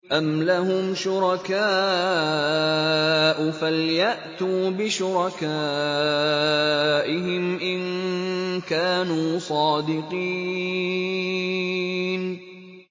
أَمْ لَهُمْ شُرَكَاءُ فَلْيَأْتُوا بِشُرَكَائِهِمْ إِن كَانُوا صَادِقِينَ